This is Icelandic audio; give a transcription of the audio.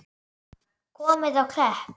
Komið á Klepp?